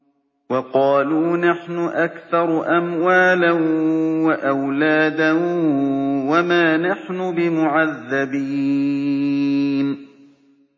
وَقَالُوا نَحْنُ أَكْثَرُ أَمْوَالًا وَأَوْلَادًا وَمَا نَحْنُ بِمُعَذَّبِينَ